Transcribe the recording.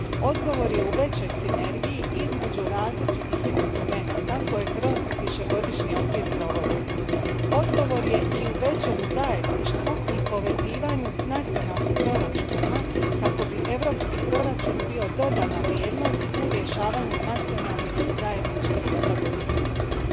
Odgovor je u većoj sinergiji između različitih instrumenata koje kroz višegodišnji okvir provodimo. Odgovor je i u većem zajedništvu i povezivanju s nacionalnim proračunima kako bi europski proračun bio dodana vrijednost u rješavanju nacionalnih i zajedničkih europskih izazova.